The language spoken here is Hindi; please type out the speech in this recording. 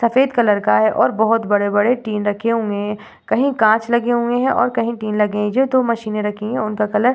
सफ़ेद कलर का है और बहोत बड़े-बड़े टिन रखे हुए हैं और कही कांच लगे हुए हैं और कही टिन लगे हैं जो दो मशीन रखी हुई है। उनका कलर --